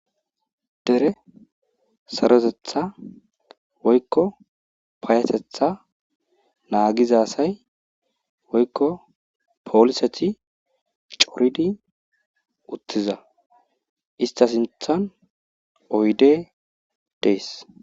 Dere saroteththa woykko payatetha naagiza asay woykko pooliseti coridi uttiza istta sinththan oydde dees.